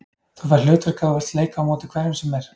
Þú færð hlutverk ef þú vilt leika á móti hverjum sem er.